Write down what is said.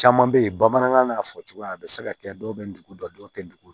Caman bɛ yen bamanankan n'a fɔ cogoya a bɛ se ka kɛ dɔw bɛ dugu dɔn dɔw tɛ dugu